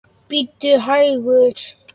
Bíddu hægur.